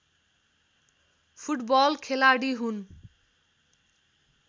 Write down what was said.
football खेलाडी हुन्